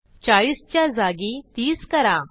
40 च्या जागी 30 करा